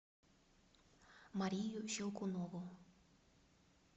марию щелкунову